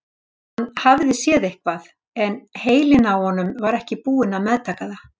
Hann hafði séð eitthvað en heilinn á honum var ekki búinn að meðtaka það.